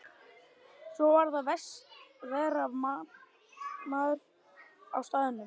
Svo varð að vera vaktmaður á staðnum.